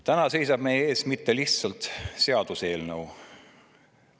Täna ei seisa meie ees mitte lihtsalt seaduseelnõu.